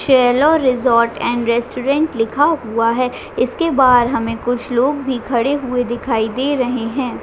चेलो resort and restaurant लिखा हुआ है। इसके बाहर हमे कुछ लोग भी खड़े हुए दिखाई दे रहै है।